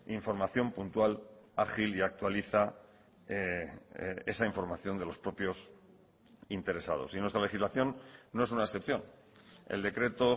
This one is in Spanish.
información puntual ágil y actualiza esa información de los propios interesados y nuestra legislación no es una excepción el decreto